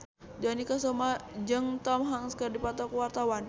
Dony Kesuma jeung Tom Hanks keur dipoto ku wartawan